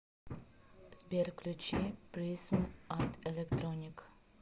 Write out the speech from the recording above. сбер включи призм арт электроник